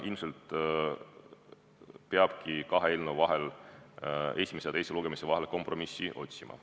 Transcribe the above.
Ilmselt peabki esimese ja teise lugemise vahel kompromissi otsima.